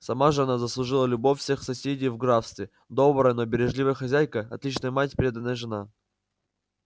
сама же она заслужила любовь всех соседей в графстве добрая но бережливая хозяйка отличная мать преданная жена